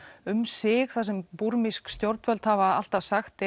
um sig þar sem búrmísk stjórnvöld hafa alltaf sagt